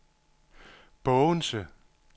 Bogense